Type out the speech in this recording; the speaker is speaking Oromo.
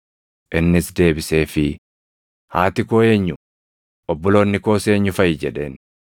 Innis deebiseefii, “Haati koo eenyu? Obboloonni koos eenyu faʼi?” jedheen.